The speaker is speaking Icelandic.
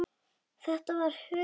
Þetta var huggun.